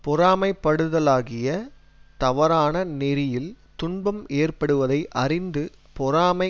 பொறாமைப்படுதலாகிய தவறான நெறியில் துன்பம் ஏற்படுவதை அறிந்து பொறாமை